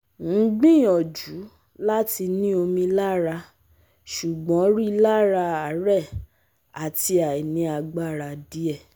Ngbiyanju lati ni omi lara ṣugbọn rilara aare ati ainiagbara diẹ